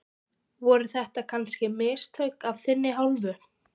Voru þetta kannski mistök af þinni hálfu?